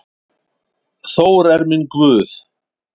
Þór er minn guð.